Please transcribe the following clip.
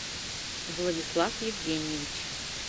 владислав евгеньевич